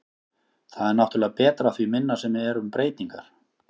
Það er náttúrulega betra því minna sem eru um breytingar.